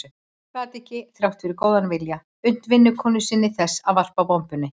Hún gat ekki, þrátt fyrir góðan vilja, unnt vinnukonu sinni þess að varpa bombunni.